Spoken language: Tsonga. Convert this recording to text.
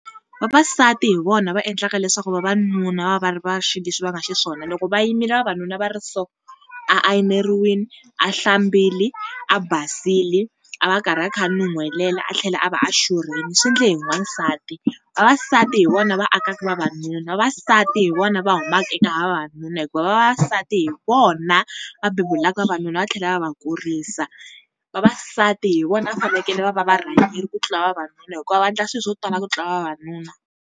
Vavasati hi vona va endlaka leswaku vavanuna va va va xileswi va nga xiswona. Loko va yimile vavanuna va ri so, a ayineriwile, a hlambile, a basile a va a karhi a kha a nuhelela, a tlhela a va a xurhile, swi endle hi n'wansati. Vavasati hi vona va akaka vavanuna vavasati hi vona va humaka eka vavanuna hikuva vavasati hi vona va bebulaka vavanuna va tlhela va va kurisa. Vavasati hi vona va fanekele va va varhangeri ku tlula vavanuna hikuva va endla swilo swo tala ku tlula vavanuna.